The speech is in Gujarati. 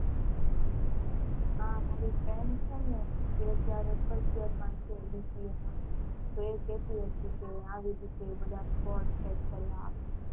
હા મારી friend છે ને અત્યારે એ first year માં છે BCA માં તો એ કેતી હતી કે આવી રીતે બધા squad check કરવા આવે.